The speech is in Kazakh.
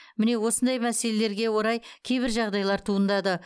міне осындай мәселелерге орай кейбір жағдайлар туындады